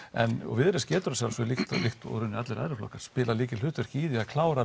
viðreisn getur að sjálfsögðu líkt og í rauninni allir aðrir flokkar spilað lykilhlutverk í því að klára að